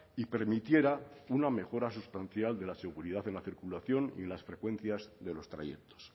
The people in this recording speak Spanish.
y permitiera una mejora sustancial de la seguridad en la circulación y en las frecuencias de los trayectos